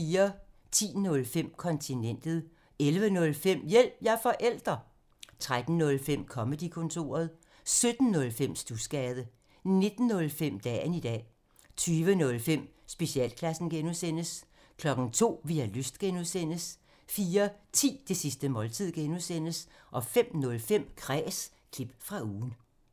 10:05: Kontinentet 11:05: Hjælp – jeg er forælder! 13:05: Comedy-kontoret 17:05: Studsgade 19:05: Dagen i dag 20:05: Specialklassen (G) 02:00: Vi har lyst (G) 04:10: Det sidste måltid (G) 05:05: Kræs – klip fra ugen